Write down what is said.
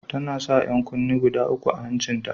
Tana sa 'yan kunne guda uku a hancin ta.